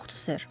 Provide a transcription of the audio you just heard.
Yoxdur, ser.